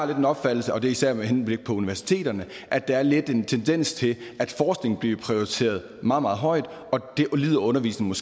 den opfattelse og det er især med henblik på universiteterne at der er lidt en tendens til at forskning bliver prioriteret meget meget højt og det lider undervisningen